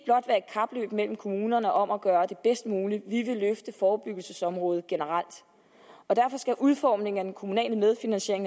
kapløb mellem kommunerne om at gøre det bedst muligt vi vil løfte forebyggelsesområdet generelt og derfor skal udformningen af den kommunale medfinansiering